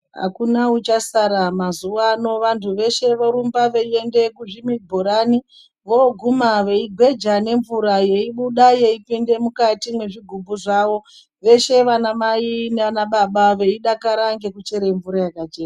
Akuna uchasara mazuwa ano vantu veshe vorumba veienda kuzvibhorani voguma veigweja nemvura yebuda yeipinde mukati mwezvigumbu zvavo veshe vanamai nanababa veidakara ngekuchere mvura yakachena.